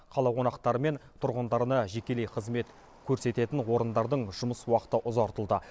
қала қонақтары мен тұрғындарына жекелей қызмет көрсететін орындардың жұмыс уақыты ұзартылды